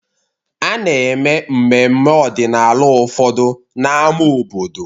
A na-eme mmemme ọdịnala ụfọdụ na n'ámá obodo.